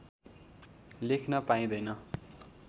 लेख्न पाइँदैन